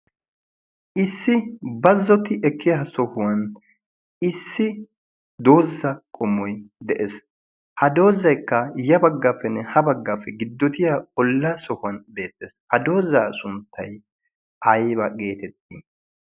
Issi baazzoti ekkiya sohuwaan issi doozay qommoy de'ees. ha doozaykka ya baggappenne ya baggappenne giddoti ekkiyaa olatti ekkiya sohuwan beettees. ha doozay sunttay aybba geteetti?